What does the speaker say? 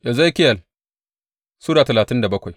Ezekiyel Sura talatin da bakwai